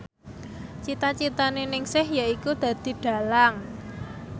cita citane Ningsih yaiku dadi dhalang